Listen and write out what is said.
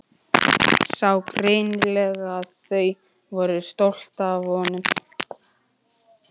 Sá greinilega að þau voru stolt af honum.